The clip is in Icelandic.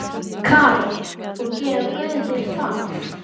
Karen: Og gera guðir það?